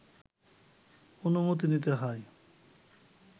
অনুমতি নিতে হয়